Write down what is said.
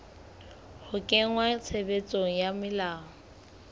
ho kenngwa tshebetsong ha melao